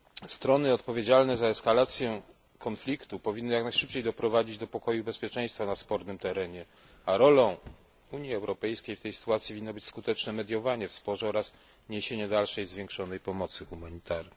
Strony odpowiedzialne za eskalację konfliktu powinny jak najszybciej doprowadzić do pokoju i bezpieczeństwa na spornym terenie, a rolą Unii Europejskiej w tej sytuacji winna być skuteczna mediacja w sporze oraz niesienie dalszej zwiększonej pomocy humanitarnej.